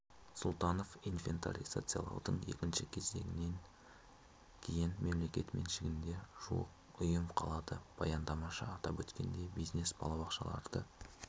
сұлтанов инвентаризациялаудың екінші кезеңінен кейін мемлекет меншігінде жуық ұйым қалады баяндамашы атап өткендей бизнес балабақшаларды